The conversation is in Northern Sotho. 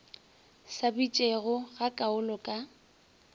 sa bitšego ga kaalo ka